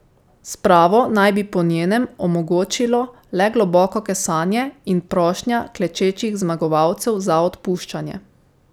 Spravo naj bi, po njenem, omogočilo le globoko kesanje in prošnja klečečih zmagovalcev za odpuščanje.